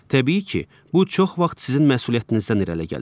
Təbii ki, bu çox vaxt sizin məsuliyyətinizdən irəli gəlir.